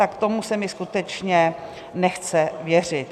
Tak tomu se mi skutečně nechce věřit.